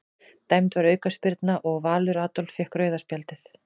Dæmd var aukaspyrna og Valur Adolf fékk rauða spjaldið.